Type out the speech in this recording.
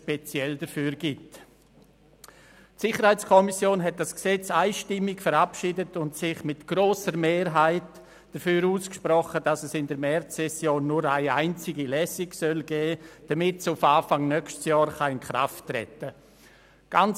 Die SiK hat das Gesetz einstimmig verabschiedet und sich mit grosser Mehrheit dafür ausgesprochen, dass es in der Märzsession nur eine einzige Lesung geben soll, damit es auf Anfang des nächsten Jahres in Kraft treten kann.